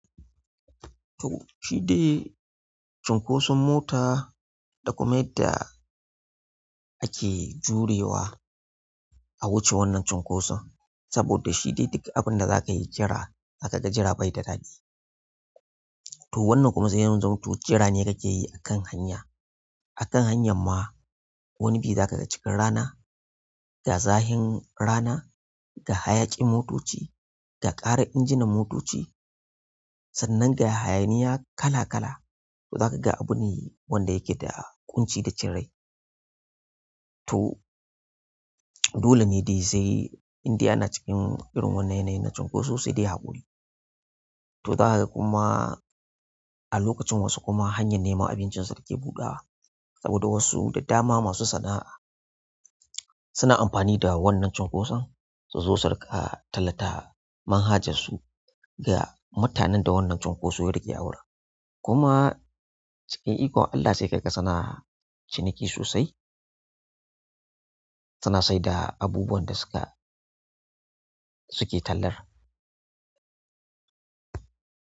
To shi dai cunkoson mota da kuma yadda ake jurewa a wuce wannan cunkoson, saboda shi dai duk abin da za ka yi jira, aka ga jira bai da daɗi. To wannan kuma zai yi zamanto jira ne ka ke yi a kan hanya. A kan hanyar ma wani bi za ka ga cikin rana, ga zahin rana, ga hayaƙin motoci, ga ƙaran injinan motoci, sannan ga hayaniya kala kala. To za ka ga abune wanda yake da ƙunci da cin rai. To dole ne dai sai indai a na cikin irin wannan yanayin na cunkoso sai dai haƙuri. Toh zaka kuma a lokacin wasu kuma hanyar neman abincin su kake budawa saboda wasu da dama masu sana'a suna amfani da wannan cunkoson suzo su ringa tallata manhajar su ga mutanen da wannan cunkoso yarike awurin. Kuma cikin ikon Allah sai ka ga suna'a ciniki sosai. Suna sai da abubuwan da suka suke tallar.